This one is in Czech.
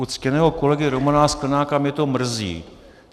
U ctěného kolegy Romana Sklenáka mě to mrzí.